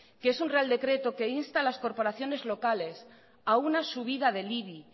que es un real decreto que insta a las corporaciones locales a una subida del ibi